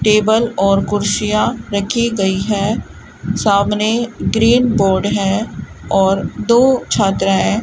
table और कुर्सियां रखी गईं है सामने ग्रीन बोर्ड है और दो छात्राएं --